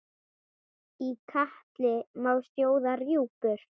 Í katli má sjóða rjúpur?